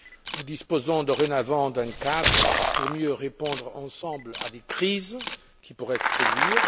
Nous disposons dorénavant d'un cadre pour mieux répondre ensemble à des crises qui pourraient se produire.